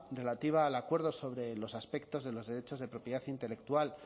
relativa al acuerdo sobre los aspectos de los derechos de propiedad intelectual